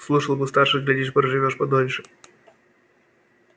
слушал бы старших глядишь проживёшь подольше